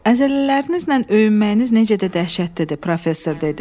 Əzələlərinizlə öyünməyiniz necə də dəhşətlidir, professor dedi.